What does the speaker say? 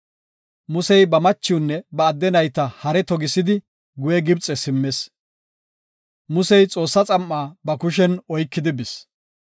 Musey ba machiwunne ba adde nayta hare togisidi guye Gibxe simmis. Musey Xoossaa xam7a ba kushen oykidi bis.